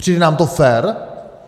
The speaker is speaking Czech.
Přijde nám to fér?